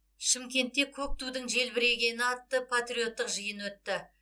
шымкентте көк тудың желбірегені атты патриоттық жиын өтті